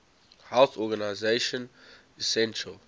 health organization essential